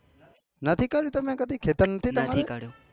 નથી કર્યું તમે કદી ખેતર નથી તમારે